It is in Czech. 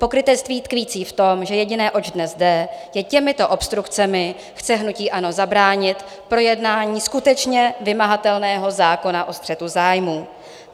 Pokrytectví tkvící v tom, že jediné, oč dnes jde, že těmito obstrukcemi chce hnutí ANO zabránit projednání skutečně vymahatelného zákona o střetu zájmů.